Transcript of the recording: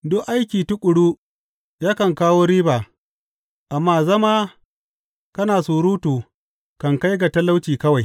Duk aiki tuƙuru yakan kawo riba, amma zama kana surutu kan kai ga talauci kawai.